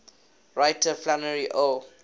writer flannery o